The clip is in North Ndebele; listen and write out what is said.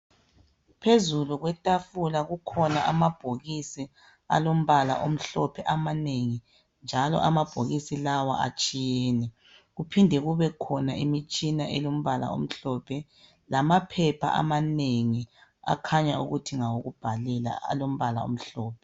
Phezulu kwetafula kukhona amabhokisi alombala omhlophe amanengi njalo amabhokisi lawa atshiyene. Kuphinde kubekhona imitshina elombala omhlophe lamaphepha amanengi akhanya ukuthi ngawokubhalela alombala omhlophe.